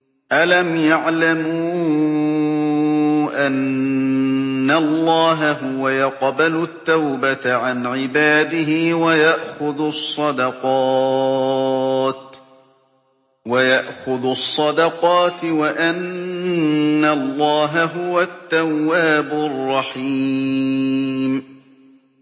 أَلَمْ يَعْلَمُوا أَنَّ اللَّهَ هُوَ يَقْبَلُ التَّوْبَةَ عَنْ عِبَادِهِ وَيَأْخُذُ الصَّدَقَاتِ وَأَنَّ اللَّهَ هُوَ التَّوَّابُ الرَّحِيمُ